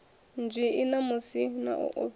nzwii namusi na u ofhisa